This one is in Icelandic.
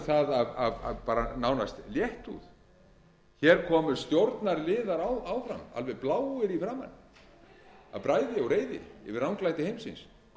um það af bara nánast léttúð hér komu stjórnarliðar áðan alveg bláir í framan af bræði og reiði yfir ranglæti heimsins hvað skyldi